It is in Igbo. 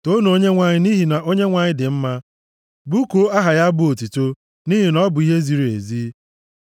Toonu Onyenwe anyị, nʼihi na Onyenwe anyị dị mma; bụkuo aha ya abụ otuto, nʼihi na ọ bụ ihe ziri ezi.